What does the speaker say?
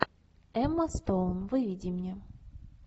эмма стоун выведи мне